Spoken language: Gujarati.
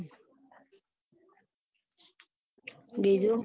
બીજું